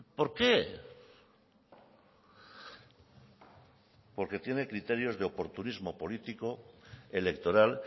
por qué porque tiene criterios de oportunismo político electoral